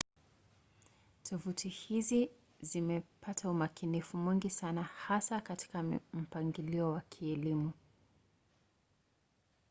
tovuti hizi zimepata umakinifu mwingi sana hasa katika mpangilio wa kielimu